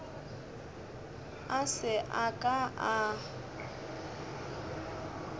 a se a ka a